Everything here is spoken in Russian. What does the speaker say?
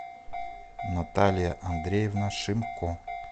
наталья андреевна шимко